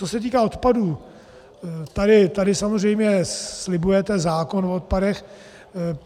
Co se týká odpadů, tady samozřejmě slibujete zákon o odpadech.